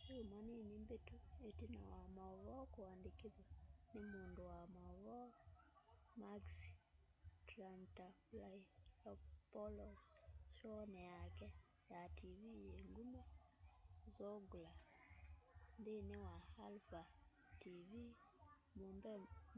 syumwa nini mbitu itina wa uvoo kuandikithwa ni mundu wa mauvoo makis triantafylopoulos showni yake ya tv yi nguma zoungla nthini wa alpha tv